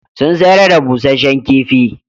Sun sayar da busasshen kifi.